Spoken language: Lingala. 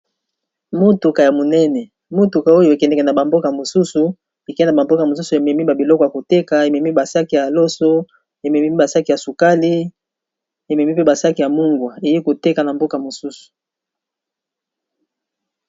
Motuka ya monene, motuka oyo e kendeka na ba mboka mosusu e kendeka ba mboka mosusu e memi ba biloko ya koteka, e memi ba sacs ya loso, e memi ba sacs ya sukali , e memi pe ba sacs ya mungwa, eye koteka na boka mosusu .